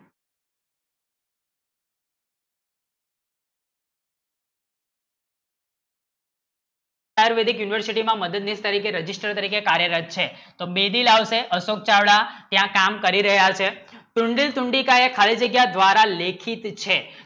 આયુર્વેદિક university માં registrar રીતે કાર્યરત છે તો બેલી લાવશે અશોક ચાવડા અય્યા કામ કરી રહ્યાશે તુંડી તુંડી દ્વારા ખાલી જગ્યા લેખિત છે